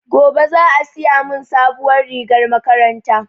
Gobe za a siya mun sabuwar rigar makaranta